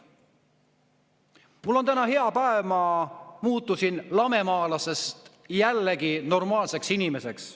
Mul on täna hea päev, ma muutusin lamemaalasest jälle normaalseks inimeseks.